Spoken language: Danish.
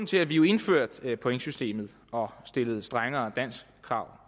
til at vi indførte pointsystemet og stillede strengere danskkrav